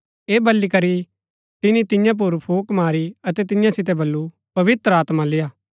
ऐह बली करी तिनी तियां पुर फूक मारी अतै तियां सितै बल्लू पवित्र आत्मा लेआ